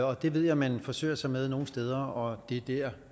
og det ved jeg man forsøger sig med nogle steder og det er der